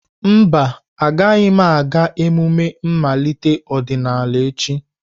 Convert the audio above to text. Mba, agaghị m aga emume mmalite ọdịnala echi.